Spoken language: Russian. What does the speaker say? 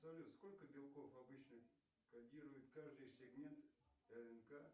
салют сколько белков обычно кодирует каждый сегмент рнк